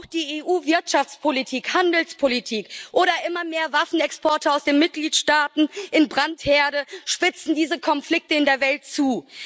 Auch die EU Wirtschaftspolitik, Handelspolitik oder immer mehr Waffenexporte aus den Mitgliedstaaten in Brandherde spitzen diese Konflikte in der Welt zu.